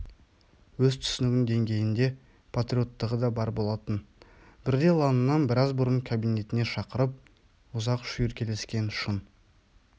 өз түсінігінің деңгейінде патриоттығы да бар болатын бірде лаңынан біраз бұрын кабинетіне шақырып ұзақ шүйіркелескен шын